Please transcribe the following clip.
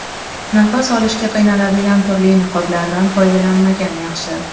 Nafas olishga qiynaladigan turli niqoblardan foydalanmagan yaxshi.